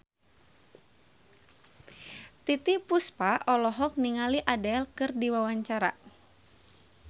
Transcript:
Titiek Puspa olohok ningali Adele keur diwawancara